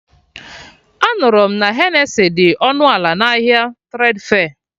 Anụrụ m na Henesi dị ọnụ ala na ahịa Tredfe